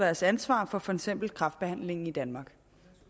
deres ansvar for for eksempel kræftbehandlingen i danmark